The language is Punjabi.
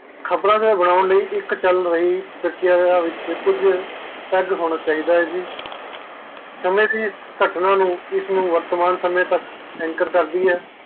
ਖ਼ਬਰ ਨੂੰ ਬਣਾਉਣ ਲਈ ਇਕ ਚਲ ਰਹੀ ਛਾਗੇਯਾ ਵਿਚ ਕੁਛ ਪਲ ਹੋਣਾ ਚਾਹੀਦਾ ਹੈ ਸਮਾਯ ਜੀ ਇਸ ਕੱਟਣਾ ਨੂੰ ਵਰਤਮਾਨ ਸਮੇਂ ਤਕ ਐਂਟਰ ਕਰਦੀ ਹੈ